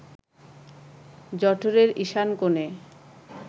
জঠরের ঈশান কোণে